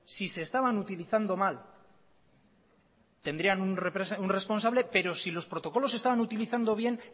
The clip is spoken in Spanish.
si se estaban utilizando mal tendrían un responsable pero si los protocolos se estaban utilizando bien